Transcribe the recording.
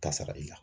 Ka sara i la